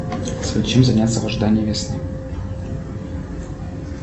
чем заняться в ожидании весны